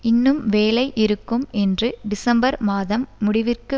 இன்னும் வேலை இருக்கும் என்று டிசம்பர் மாதம் முடிவிற்கு